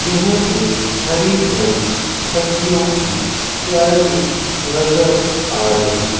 यह एक हरी भरी सब्जियों की क्यारी नजर आ रही --